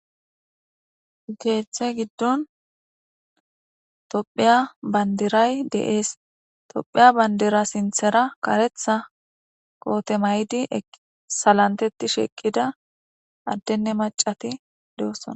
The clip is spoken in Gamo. Keeththe giddon tophiya bandiray deees. tophiya bandira sinthera karetha koothe maydi salanteti sheqqida addenne maccati de7ossona.